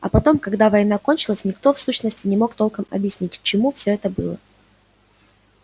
а потом когда война кончилась никто в сущности не мог толком объяснить к чему всё это было